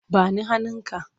Ba ni hannunka!